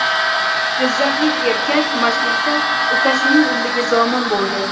Jizzaxlik erkak mastlikda ukasining umriga zomin bo‘ldi.